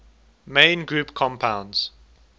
main group compounds